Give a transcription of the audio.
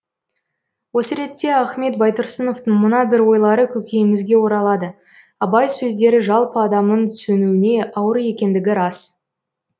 осы ретте ахмет байтұрсыновтың мына бір ойлары көкейімізге оралады абай сөздері жалпы адамның түсінуіне ауыр екендігі рас